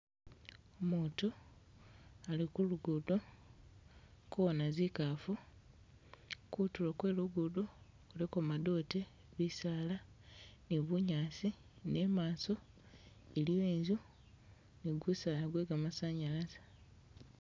Umutu ali ku lugudo akuwona zikafu, kutulo kwe lugudo kuliko madote, bisaala ni bunyaasi ne imaso iliwo inzu ni gusaala gwe gamasanyalaze